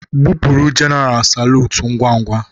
Gbụpụrụ jenaral salutu ngwa ngwa!